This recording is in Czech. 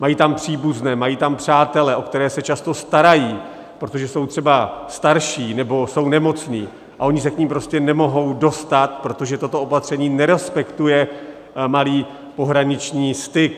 Mají tam příbuzné, mají tam přátele, o které se často starají, protože jsou třeba starší nebo jsou nemocní, a oni se k nim prostě nemohou dostat, protože toto opatření nerespektuje malý pohraniční styk.